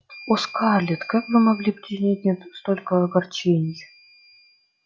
о скарлетт как вы могли причинить мне столько огорчений